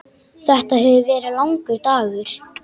Þetta hefur verið langur dagur.